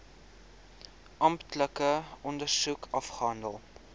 amptelike ondersoek afgehandel